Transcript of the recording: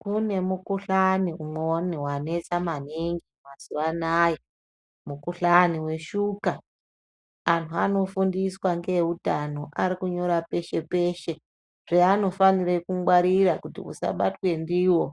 Kune mukuhlani umweni wanesa maningi mazuwa anaya, mukuhlani weshuka. Anhu anofundiswa ngeeutano arikunyora peshe-peshe zveanofanire kungwarira kuti usabatwa ndiwo,